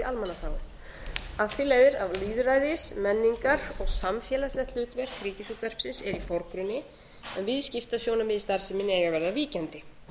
af því leiðir að lýðræðis menningar og samfélagslegt hlutverk ríkisútvarpsins er í forgrunni en viðskiptasjónarmið í starfseminni eiga að verða víkjandi